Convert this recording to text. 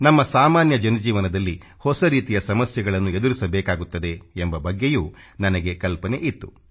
ನಮ್ಮ ಸಾಮಾನ್ಯ ಜನಜೀವನದಲ್ಲಿ ಹೊಸ ರೀತಿಯ ಸಮಸ್ಯೆಗಳನ್ನು ಎದುರಿಸಬೇಕಾಗುತ್ತದೆ ಎಂಬ ಬಗ್ಗೆಯೂ ನನಗೆ ಕಲ್ಪನೆಯಿತ್ತು